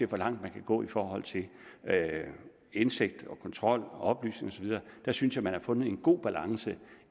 hvor langt den kan gå i forhold til indsigt og kontrol og oplysning og så videre der synes jeg man har fundet en god balance